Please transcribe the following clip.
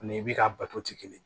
Ani i bi ka bato tɛ kelen ye